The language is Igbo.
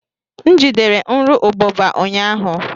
M jidere nru ubụba ụnyahụ.